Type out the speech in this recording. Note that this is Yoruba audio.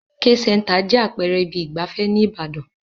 The K-Center jẹ́ àpẹẹrẹ ibi ìgbafẹ́ ní ìbàdàn.